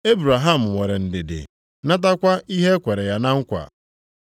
Ebraham nwere ndidi, natakwa ihe e kwere ya na nkwa.